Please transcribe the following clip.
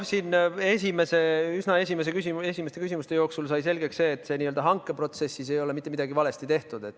Juba üsna esimeste küsimuste jooksul sai selgeks, et selles n-ö hankeprotsessis ei ole mitte midagi valesti tehtud.